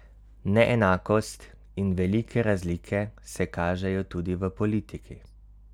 Neenakost in velike razlike se kažejo tudi v politiki.